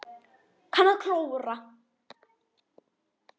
Kann að klóra.